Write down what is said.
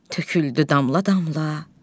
Töküldü damla-damla.